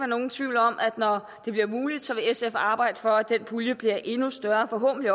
nogen tvivl om at når det bliver muligt vil sf arbejde for at den pulje bliver endnu større forhåbentlig